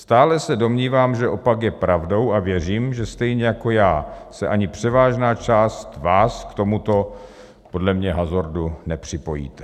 Stále se domnívám, že opak je pravdou a věřím, že stejně jako já se ani převážná část vás k tomuto podle mě hazardu nepřipojí.